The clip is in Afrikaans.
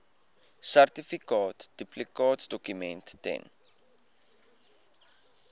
sertifikaat duplikaatdokument ten